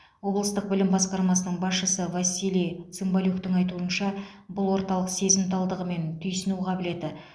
облыстық білім басқармасының басшысы василий цымбалюктың айтуынша бұл орталық сезімталдығы мен түйсіну қабілеті